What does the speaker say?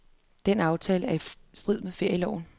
Den aftale er i strid med ferieloven.